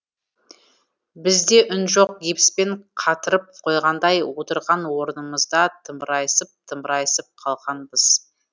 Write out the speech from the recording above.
бізде үн жоқ гипспен қатырып қойғандай отырған орнымызда тымырайысып тымырайысып қалғанбыз